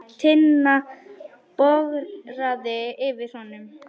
Tinna bograði yfir honum.